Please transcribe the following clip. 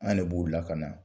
An de b'u lakana